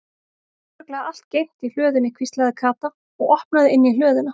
Það er örugglega allt geymt í hlöðunni hvíslaði Kata og opnaði inn í hlöðuna.